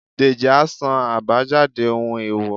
dejí a sán abájádé ohún eèwò